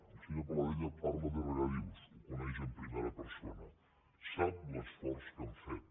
el senyor paladella parla de regadius ho coneix en primera persona sap l’esforç que hem fet